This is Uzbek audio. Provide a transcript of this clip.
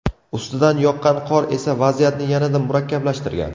Ustidan yoqqan qor esa vaziyatni yanada murakkablashtirgan.